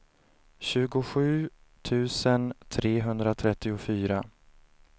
tjugosju tusen trehundratrettiofyra